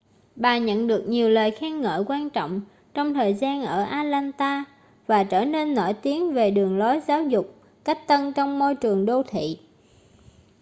bà nhận được nhiều lời khen ngợi quan trọng trong thời gian ở atlanta và trở nên nổi tiếng về đường lối giáo dục cách tân trong môi trường đô thị